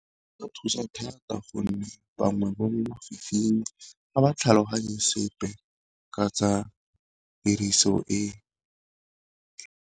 E ka thusa thata gonne bangwe bo mo lefifing ga ba tlhaloganye sepe ka tsa tiriso e.